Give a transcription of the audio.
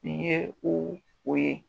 Nin ye o o ye.